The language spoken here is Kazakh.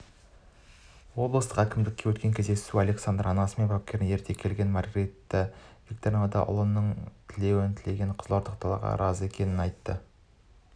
облыстық әкімдікте өткен кездесуге александр анасы мен бапкерін ерте келген маргарита викторовна да ұлының тілеуін тілеген қызылордалықтарға разы екенін айтты